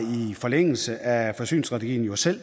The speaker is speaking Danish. forlængelse af forsyningsstrategien jo selv